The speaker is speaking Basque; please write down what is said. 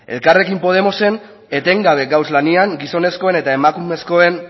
elkarrekin podemosen etengabe gaude lanean gizonezkoen eta emakumezkoen